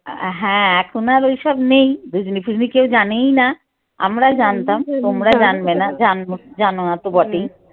হ্যাঁ এখন আর ওইসব নেই ধুজনি ফুুজনি কেউ জানেই না আমরা জানতাম জান না তো বটেই